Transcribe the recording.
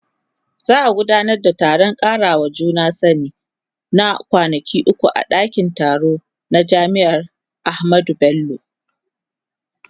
Za a gudanar da taron karawa juna sani na kwanaki uku a dakin taro na jami'ar Ahmadu Bello.